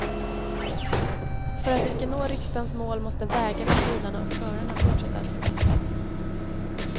För att vi ska nå riksdagens mål måste vägarna, bilarna och förarna fortsätta att förbättras.